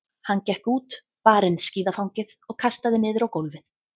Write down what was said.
Hann gekk út, bar inn skíðafangið og kastaði niður á gólfið.